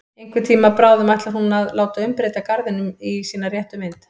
Einhvern tíma bráðum ætlar hún að láta umbreyta garðinum í sína réttu mynd.